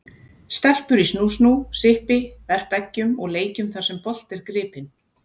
Stelpur í snú-snú, sippi, verpa eggjum og leikjum þar sem bolti er gripinn.